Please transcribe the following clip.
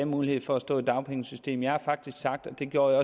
mulighed for at stå i dagpengesystemet jeg har sagt og det gjorde